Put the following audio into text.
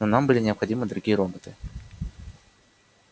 но нам были необходимы другие роботы